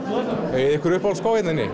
eigið þið ykkur uppáhaldsskó hérna inni